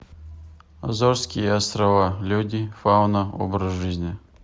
азорские острова люди фауна образ жизни